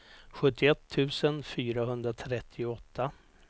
sjuttioett tusen fyrahundratrettioåtta